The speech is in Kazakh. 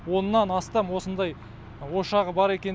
оннан астам осындай ошағы бар екен